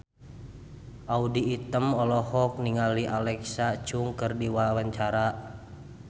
Audy Item olohok ningali Alexa Chung keur diwawancara